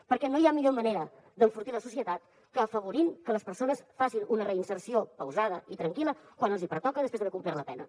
perquè no hi ha millor manera d’enfortir la societat que afavorint que les persones facin una reinserció pausada i tranquil·la quan els hi pertoca després d’haver complert la pena